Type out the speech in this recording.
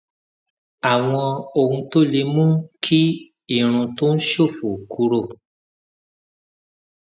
àwọn ohun tó lè mú kí irun tó ń ṣòfò kúrò